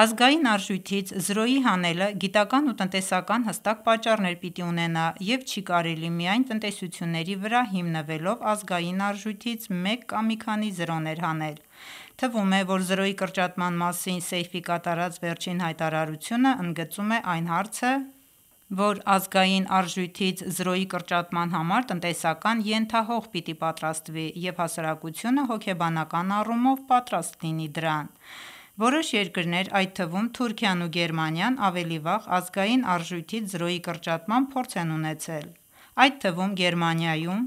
Ազգային արժույթից զրոյի հանելը գիտական ու տնտեսական հստակ պատճառներ պիտի ունենա և չի կարելի միայն տեսությունների վրա հիմնվելով ազգային արժույթից մեկ կամ մի քանի զրոներ հանել: Թվում է, որ զրոյի կրճատման մասին Սեյֆի կատարած վերջին հայտարարությունն ընդգծում է այն հարցը, որ ազգային արժույթից զրոյի կրճատման համար տնտեսական ենթահող պիտի պատրաստվի և հասարակությունը հոգեբանական առումով պատրաստ լին դրան: Որոշ երկրներ, այդ թվում Թուրքիան ու Գերմանիան ավելի վաղ ազգային արժույթից զրոյի կրճատման փորձ են ունեցել: Այդ թվում Գերմանիայում,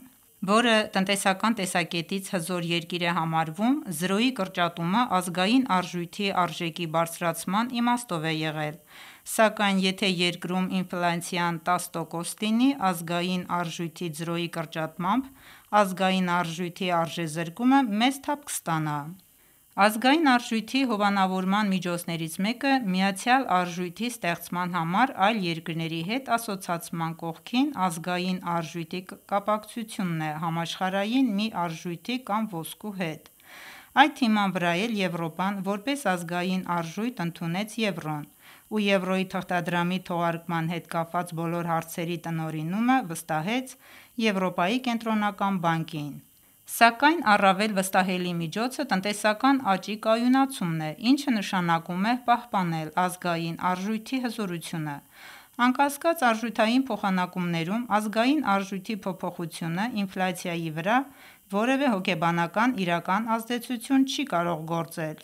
որը տնտեսական տեսակետից հզոր երկիր է համարվում զրոյի կրճատումն ազգային արժույթի արժեքի բարձրացման իմաստով է եղել, սակայն եթե երկրում ինֆլյացիան 10 տոկոս լինի, ազգային արժույթից զրոյի կրճատմամբ ազգային արժույթի արժեզրկումը մեծ թափ կստանա: Ազգային արժույթի հովանավորման միջոցներից մեկը միացյալ արժույթի ստեղծման համար այլ երկրների հետ ասոցացման կողքին ազգային արժույթի կապակցությունն է համաշխարհային մի արժույթի կամ ոսկու հետ: Այդ հիման վրա էլ Եվրոպան որպես ազգային արժույթ ընդունեց Եվրոն և Եվրոյի թղթադրամի թողարկման հետ կապված բոլոր հարցերի տնօրինումը վստահեց Եվրոպայի կենտրոնական բանկին: Սակայն առավել վստահելի միջոցը տնտեսական աճի կայունացումն է, ինչը նշանակում է պահպանե ազգային արժույթի հզորությունը: Անկասկած արժութային փոխանակումներում ազգային արժույթի փոփոխությունը ինֆլյացիայի վրա որևէ հոգեբանական իրական ազդեցություն չի կարող գործել: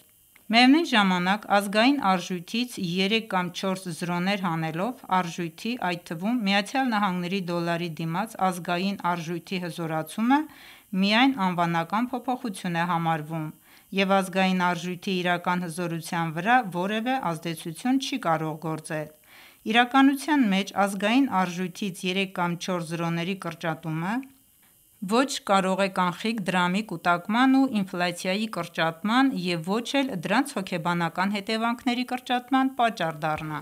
Միևնույն ժամանակ ազգային արժույթից երեք կամ չորս զրոներ հանելով արտարժույթի, այդ թվում ԱՄՆ դոլարի դիմաց ազգային արժույթի հզորացումը միայն անվանական փոփոխություն է համարվում և ազգային արժույթի իրական հզորության վրա որևէ ազդեցություն չի կարող գործել: Իրականության մեջ ազգային արժույթից երեք կամ չորս զրոների կրճատումը ոչ կարող է կանխիկ դրամի կուտակման ու ինֆլյացիայի կրճատման և ոչ էլ դրանց հոգեբանական հետևանքների կրճատման պատճառ դառնա: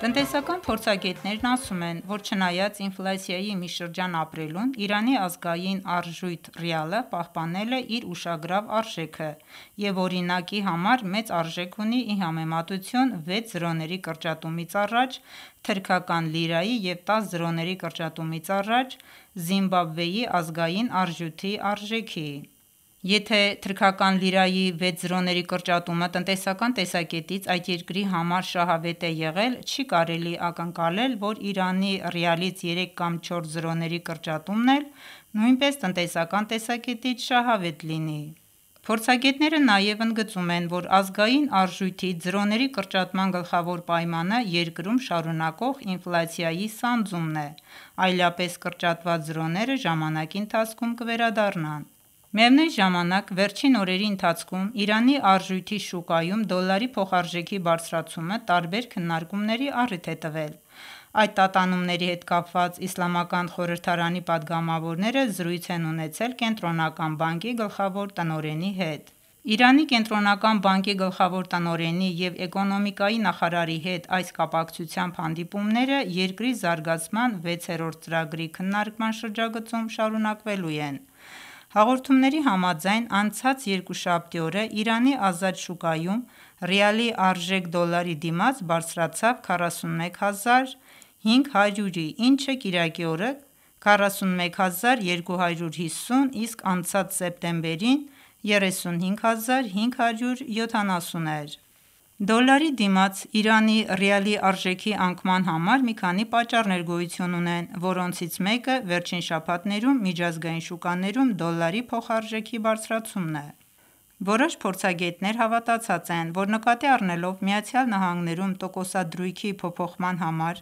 Տնտեսական փորձագետներն ասում են, որ չնայած ինֆլյացայի մի շրջան ապրելուն, Իրանի ազգային արժույթ՝ ռիալը պահպանել է իր ուշագրավ արժեքը և օրինակ համար մեծ արժեք ունի ի համեմատություն վեց զրոների կրճատումից առաջ՝ թրքական լիրայի և 10 զրոների կրճատումից առաջ՝ Զիմբաբվեի ազգային արժույթի արժեքի: Եթե թրքական լիրայի վեց զրոների կրճատումը տնտեսական տեսակետից այդ երկրի համար շահավետ է եղել չի կարելի ակնկալել, որ Իրանի ռիալից երեք կամ չորս զրոների կրճատումն էլ նույնպես տնտեսական տեսակետից շահավետ լինի: Փորձագետները նաև ընդգծում են, որ ազգային արժույթից զրոների կրճատման գլխավոր պայմանը երկրում շարունակվող ինֆլյացիայի սանձումն է, այլապես կրճատված զրոները ժամանակի ընթացքում կվերադառնան: Միևնույն ժամանակ վերջին օրերի ընթացքում Իրանի արտարժույթի շուկայում դոլարի փոխարժեքի բարձրացումը տարբեր քննարկումների առիթ է տվել: Այդ տատանումների հետ կապված իսլամական խորհրդարանի պատգամավորները զրույց են ունեցել կենտրոնական բանկի գլխավոր տնօրենի հետ: Իրանի կենտրոնական բանկի գլխավոր տնօրենի և էկոնոմիկայի նախարարի հետ այս կապակցությամբ հանդիպումները երկրի զարգացման վեցերորդ ծրագրի քննարկման շրջագծում շարունակվելու են: Հաղորդումների համաձայն անցած երկուշաբթի օրը Իրանի ազատ շուկայում ռիալի արժեք դոլարի դիմաց բարձրացավ 41 հազար 500-ի, ինչը կիրակի օրը 41 հազար 250, իսկ անցած սեպտեմբերին 35 հազար 570 էր: Դոլարի դիմաց Իրանի ռիալի արժեքի անկման համար մի քանի պատճառներ գոյություն ունեն, որոնցից մեկը վերջին շաբաթներում միջազգային շուկաներում դոլարի փոխարժեք բարձրացումն է: Որոշ փորձագետներ հավատացած են, որ նկատի առնելով ԱՄՆ-ում տոկոսադրույքի փոփոխման համար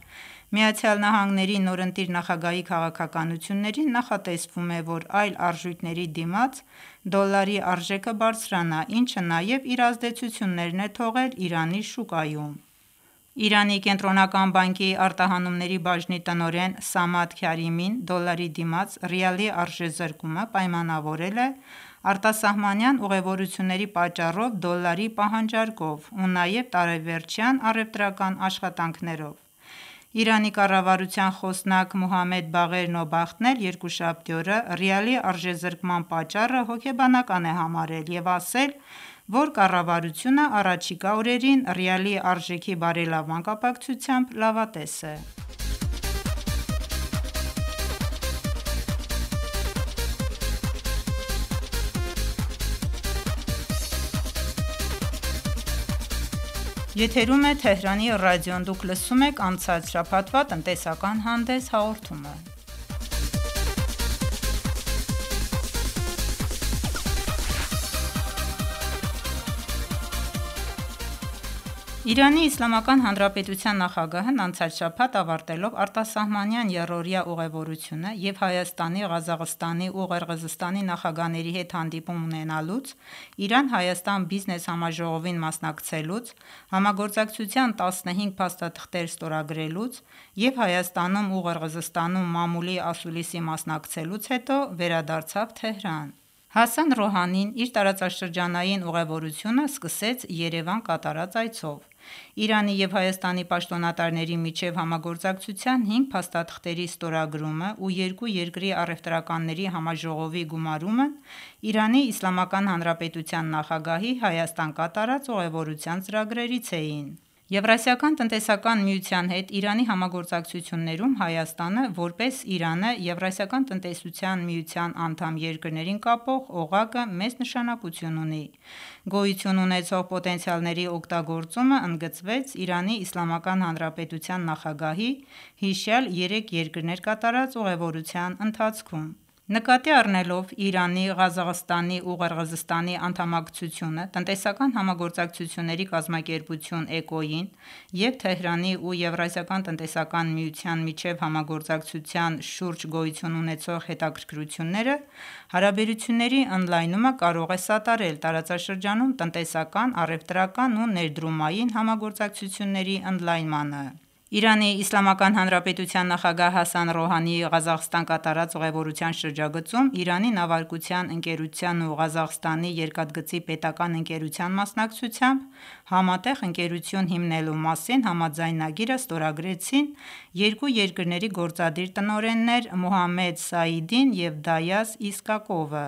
ԱՄՆ-ի նորընտիր նախագահի քաղաքականություններին նախատեսվում է, որ այլ արժույթների դիմաց դոլարի արժեքը բարձրանա, ինչը նաև իր ազդեցություններ է թողել Իրանի շուկայում: Իրանի կենտրոնական բանկի արտահանումների բաժնի տնօրեն Սամադ Քարիմին դոլարի դիմաց ռիալի արժեզրկումը պայմանավորել է արտասահմանյան ուղևորությունների պատճառով դոլարի պահանջարկով ու նաև տարեվերջյան առևտրական աշխատանքներով: Իրանի կառավարության խոսնակ Մոհամմեդ Բաղեր Նոբախտն էլ երկուշաբթի օրը ռիալի արժեզրկման պատճառը հոգեբանական է համարել և ասել է, որ կառավարությունը հառաջիկա օրերին ռիալի արժեքի բարելավման կապակցությամբ լավատես է: ԻԻՀ նախագահն անցած շաբաթ ավարտելով արտասահմանյան եռօրյա ուղևորությունը և Հայաստանի, Ղազախստանի ու Ղրղզստանի նախագահների հետ հանդիպում ունենալուց, Իրան-Հայաստան բիզնես համաժողովին մասնակցելուց, համագործակցության 15 փաստաթղթեր ստորագրելուց և Հայաստանում ու Ղրղզստանում մամուլի ասուլիսի մասնակցելուց հետո Թեհրան վերադարձավ: Հասան Ռոհանին իր տարածաշրջանային ուղևորությունը սկսեց Երևան կատարած այցով: Իրանի ու Հայաստանի պաշտոնատարների միջև համագործակցության հինգ փաստաթղթերի ստորագրումը և երկու երկրի առևտրականների համաժողովի գումարումն ԻԻՀ նախագահի Հայաստան կատարած ուղևորության ծրագրերից էին: ԵԱՏՄ-ի հետ Իրանի համագործակցություններում Հայաստանը, որպես Իրանը ԵԱՏՄ-ի անդամ երկրներին կապող օղակը մեծ նշանակություն ունի: Գոյություն ունեցող պոտենցիալների օգտագործումն ընդգծվեց ԻԻՀ նախագահի հիշյալ երեք երկրներ կատարած ուղևորության ընթացքում: Նկատի առնելով Իրանի, Ղազախստանի ու Ղրղզստանի անդամակցությունը Տնտեսական համագործակցությունների կազմակերպություն՝ ԷԿՕ-ին և Թեհրանի ու ԵԱՏՄ-ի միջև համագործակցության շուրջ գոյություն ունեցող հետաքրքրությունները, հարաբերությունների ընդլայնումը կարող է սատարել տարածաշրջանում տնտեսական, առևտրական ու ներդրումային համագործակցությունների ընդլայնմանը: ԻԻՀ նախագահ Հասան Ռոհանիի Ղազախստան կատարած ուղևորության շրջագծում Իրանի նավարկության ընկերության ու Ղազախստանի երկաթգծի պետական ընկերության մասնակցությամբ համատեղ ընկերություն հիմնելու մասին համաձայնագիրը ստորագրեցին երկու ընկերությունների գործադիր տնօրեններ Մոհամմեդ Սաիդին և Դայաս Իսկակովը: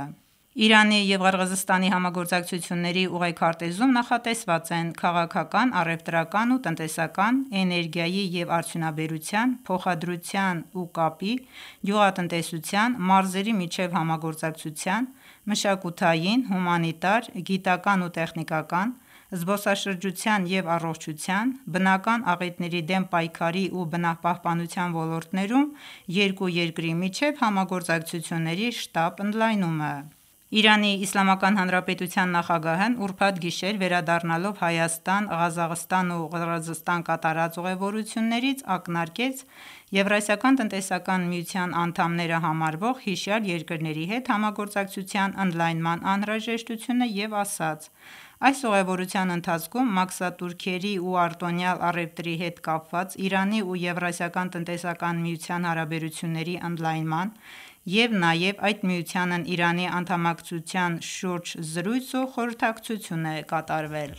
Իրանի ու Ղրղզստանի համագործակցությունների ուղեքարտեզում նախատեսված են քաղաքական, առևտրական ու տնտեսական, էներգիայի ու արդյունաբերության, փոխադրության ու կապի, գյուղատնտեսության, մարզերի միջև համագործակցության, մշակութային, հումանիտար, գիտական ու տեխնիկական, զբոսաշրջության ու առողջության, բնական աղետների դեմ պայքարի և բնապահապանության ոլորտներում երկու երկրի միջև համագործակցությունների շտապ ընդլայնումը: ԻԻՀ նախագահն ուրբաթ գիշեր վերադառնալով Հայաստան, Ղազախստան ու Ղրղզստան կատարած ուղևորությունից ակնարկեց ԵԱՏՄ-ի անդամները համարվող հիշյալ երկրների հետ համագործակցության ընդլայնման անհրաժեշտությունը և ասաց. «Այս ուղևորության ընթացքում մաքսատուրքերի ու արտոնյալ առևտրի հետ կապված Իրանի ու ԵԱՏՄ-ի հարաբերությունների ընդլայնման ու նաև այդ միությանն Իրանի անդամակցության շուրջ զրույց ու խորհրդակցություն է կատարվել»: